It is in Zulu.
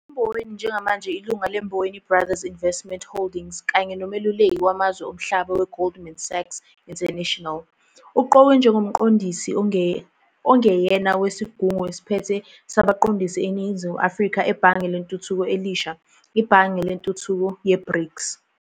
UMboweni njengamanje ilunga leMboweni Brothers Investment Holdings kanye nomeluleki wamazwe omhlaba weGoldman Sachs International. Uqokwe njengoMqondisi ongeyena wesigungu esiphethe sabaqondisi weNingizimu Afrika eBhange Lentuthuko Elisha, iBhange Lentuthuko Ye-BRICS.